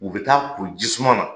U bɛ taa ko ji suman na!